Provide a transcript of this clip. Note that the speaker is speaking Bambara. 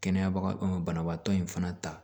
Kɛnɛya banabaatɔ in fana ta